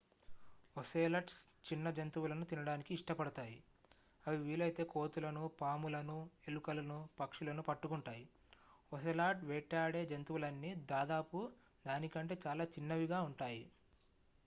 ocelots చిన్న జంతువులను తినడానికి ఇష్టపడతాయి అవి వీలైతే కోతులను పాములను ఎలుకలను పక్షులను పట్టుకుంటాయి ఒసేలాట్ వేటాడే జంతువులన్నీ దాదాపు దాని కంటే చాలా చిన్నవిగా ఉంటాయి